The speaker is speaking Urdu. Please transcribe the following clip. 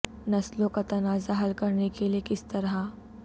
نسلوں کا تنازعہ حل کرنے کے لئے کس طرح